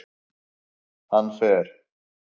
Hann fer